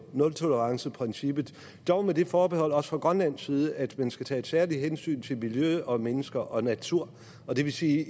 nultoleranceprincippet dog med det forbehold også fra grønlands side at man skal tage et særligt hensyn til miljø og mennesker og natur og det vil sige